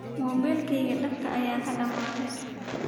Mobilkeyka daabka aya kadame.